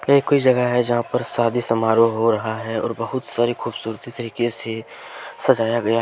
यह कोई जगह है यहां पर शादी समारोह हो रहा है और बहुत सारे खूबसूरत तरीके से सजाया गया --